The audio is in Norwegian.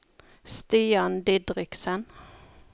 Stian Didriksen